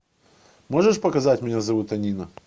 можешь показать меня зовут анина